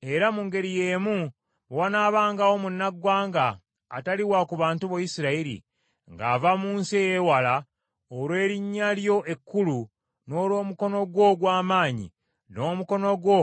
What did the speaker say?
“Era mu ngeri y’emu, bwe wanaabangawo munnaggwanga atali wa ku bantu bo Isirayiri, ng’ava mu nsi ey’ewala, olw’erinnya lyo ekkulu, n’olw’omukono gwo ogw’amaanyi, n’omukono gwo